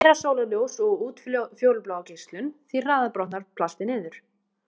Því meira sólarljós og útfjólublá geislun, því hraðar brotnar plastið niður.